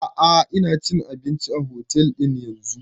A'a ina cin abinci a otel din yanzun